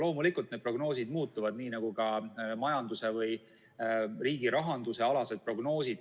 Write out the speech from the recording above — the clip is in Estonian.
Loomulikult, need prognoosid muutuvad, nii nagu ka majanduse või riigi rahanduse prognoosid.